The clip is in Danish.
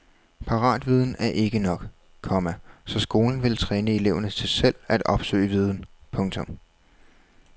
Paratviden er ikke nok, komma så skolen vil træne eleverne til selv at opsøge viden. punktum